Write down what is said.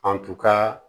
An tun ka